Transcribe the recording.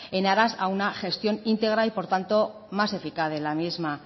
en aras a una gestión íntegra y por tanto más eficaz de la misma